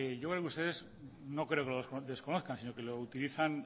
yo veo que ustedes no creo quelo desconozcan sino que lo utilizan